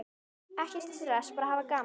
Ekkert stress, bara hafa gaman!